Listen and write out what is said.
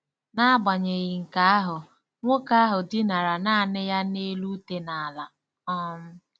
N'agbanyeghị nke ahụ, nwoke ahụ dinara nanị ya n'elu ute n'ala. um